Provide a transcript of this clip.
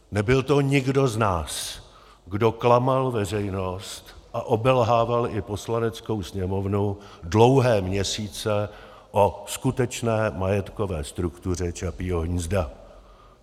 Nebyl to nikdo z nás, kdo klamal veřejnost a obelhával i Poslaneckou sněmovnu dlouhé měsíce o skutečné majetkové struktuře Čapího hnízda.